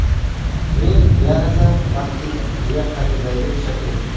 Men yanada baxtliman!”, − deya ta’kidlaydi Shakira.